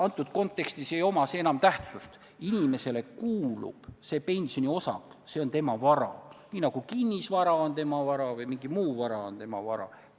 Antud kontekstis ei oma see enam tähtsust, sest see pensioniosak kuulub inimesele, see on tema vara, nii nagu kinnisvara on tema vara või mingi muu vara on tema vara.